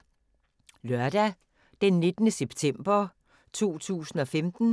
Lørdag d. 19. september 2015